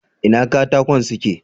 Ina katakon suke?